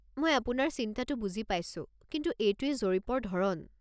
মই আপোনাৰ চিন্তাটো বুজি পাইছোঁ, কিন্তু এইটোৱেই জৰীপৰ ধৰণ।